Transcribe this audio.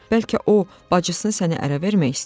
Bəlkə o bacısını sənə ərə vermək istəyir?